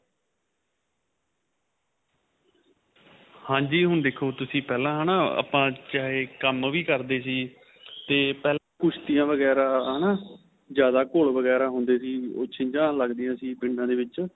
ਹਾਂਜੀ ਹੁਣ ਤੁਸੀਂ ਪਹਿਲਾਂ ਹੈਨਾ ਆਪਾ ਚਾਹੇ ਕੰਮ ਵੀ ਕਰਦੇ ਸੀ ਤੇ ਪਹਿਲਾਂ ਕੁਸ਼ਤੀਆਂ ਵਗੇਰਾ ਹੈਨਾ ਜਿਆਦਾ ਘੋੜ ਵਗੇਰਾ ਹੁੰਦੇ ਸੀ ਉਹ ਛੀਜਾਂ ਲੱਗਦੀਆਂ ਪਿੰਡਾ ਦੇ ਵਿੱਚ